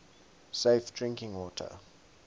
safe drinking water